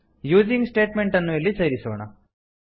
using statement ಅನ್ನು ಇಲ್ಲಿ ಸೇರಿಸೋಣ